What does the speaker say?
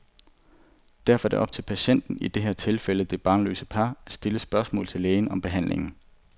Derfor er det op til patienten, i det her tilfælde det barnløse par, at stille spørgsmål til lægen om behandlingen.